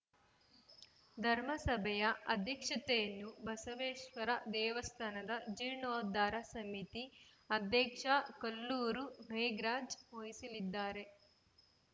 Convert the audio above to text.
ಧರ್ಮಸಭೆಯ ಅಧ್ಯಕ್ಷತೆಯನ್ನು ಬಸವೇಶ್ವರ ದೇವಸ್ಥಾನದ ಜೀರ್ಣೋದ್ಧಾರ ಸಮಿತಿ ಅಧ್ಯಕ್ಷ ಕಲ್ಲೂರು ಮೇಘರಾಜ್‌ ವಹಿಸಲಿದ್ದಾರೆ